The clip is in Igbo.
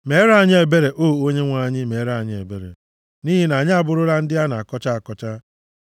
Meere anyị ebere, O Onyenwe anyị, meere anyị ebere, nʼihi na anyị abụrụla ndị a na-akọcha akọcha.